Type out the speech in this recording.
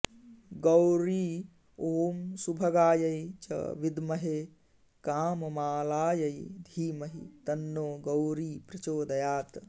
गौरी ॐ सुभगायै च विद्महे काममालायै धीमहि तन्नो गौरी प्रचोदयात्